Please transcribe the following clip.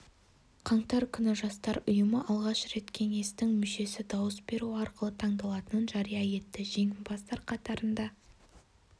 қаңтар күні жастар ұйымы алғаш рет кеңестің мүшесі дауыс беру арқылы таңдалатынын жария етті жеңімпаздар қатарында